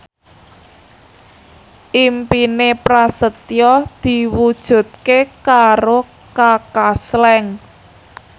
impine Prasetyo diwujudke karo Kaka Slank